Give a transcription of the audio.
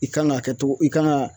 I kan ka kɛ togo i kan ga